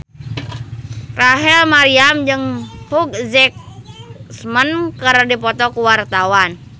Rachel Maryam jeung Hugh Jackman keur dipoto ku wartawan